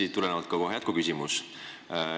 Siit tuleneb kohe ka jätkuküsimus.